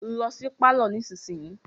Lọ sí pálọ̀ nísinsìyìí.